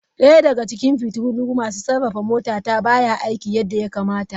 Daya daga cikin fitilun masu safarar motata baya aiki yadda ya kamata.